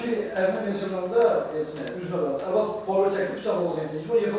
Yəni ki, ərinə qadın sellafanda deyir, yəni üzü arvadı çəkib qucağına gedib çıxmayıb.